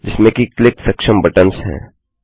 जिसमें की क्लिक सक्षम बटन्स हैं